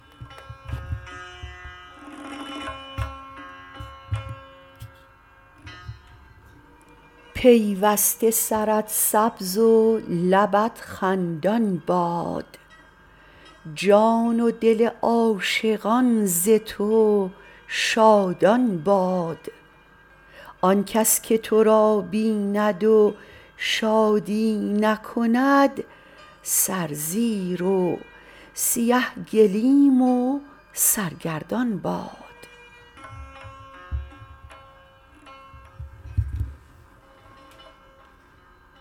پیوسته سرت سبز و لبت خندان باد جان و دل عاشقان ز تو شادان باد آنکس که ترا بیند و شادی نکند سر زیر و سیه گلیم و سرگردان باد